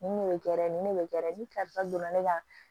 Nin de bɛ nin ne bɛ kɛ ni donna ne ka